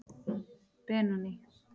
Benóný